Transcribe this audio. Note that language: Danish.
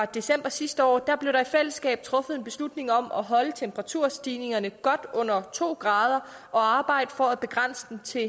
december sidste år blev der i fællesskab truffet en beslutning om at holde temperaturstigningerne godt under to grader og arbejde på at begrænse dem til